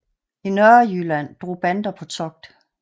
I Nørrejylland drog bander på togt